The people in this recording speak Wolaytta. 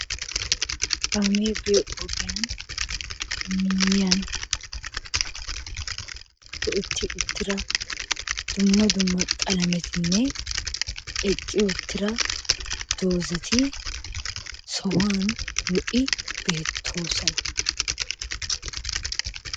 Kaamee biyo ogiyan miyyiyan otti uttida dumma dumma qalamettinne eqqi uttida dozati sohuwan lo''i beettoosona.